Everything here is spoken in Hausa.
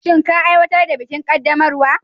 Shin ka aiwatar da bikin qaddamarwa?